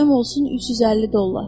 Payım olsun 350 dollar.